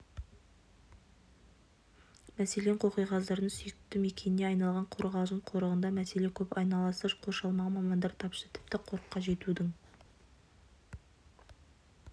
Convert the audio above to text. мәселен қоқиқаздардың сүйікті мекеніне айналған қорғалжын қорығында мәселе көп айналасы қоршалмаған мамандар тапшы тіпті қорыққа жетудің